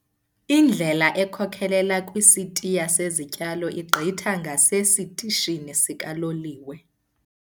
Indlela ekhokelela kwisitiya sezityalo igqitha ngasesitishini sikaloliwe.